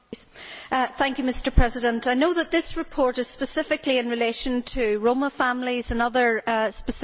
Mr President, I know that this report is specifically in relation to Roma families and other specific groups.